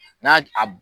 N'a a